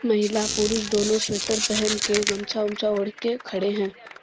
महिला पुरुष दोनों स्वेटर पहनके गमछा वमछा ओढ़ के खड़े हैं।